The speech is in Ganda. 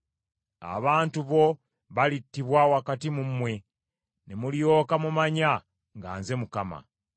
Abantu bo balittibwa wakati mu mmwe, ne mulyoka mumanya nga nze Mukama .